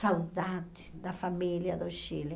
saudade da família do Chile.